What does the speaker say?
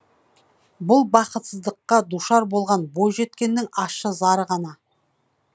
бұл бақытсыздыққа душар болған бойжеткеннің ащы зары ғана